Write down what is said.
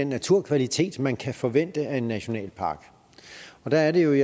naturkvalitet man kan forvente af en nationalpark der er det jo at